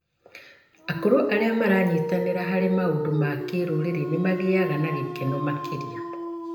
Akũrũ arĩa maranyitanĩra harĩ maũndũ ma kĩrũrĩrĩ nĩ magĩaga na gĩkeno makĩria.